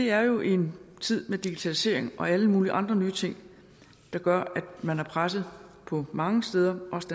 er jo i en tid med digitalisering og alle mulige andre nye ting der gør at man er presset på mange steder også